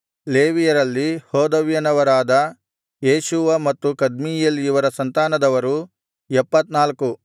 ಲೇವಿಯರಲ್ಲಿ ಹೋದವ್ಯನವರಾದ ಯೇಷೂವ ಮತ್ತು ಕದ್ಮೀಯೇಲ್ ಇವರ ಸಂತಾನದವರು 74